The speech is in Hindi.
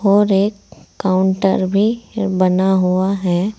और एक काउंटर भी बना हुआ है।